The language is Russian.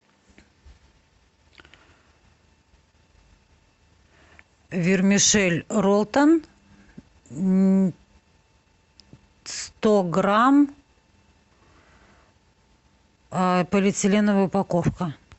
вермишель ролтон сто грамм полиэтиленовая упаковка